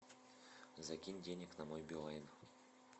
закинь денег на мой билайн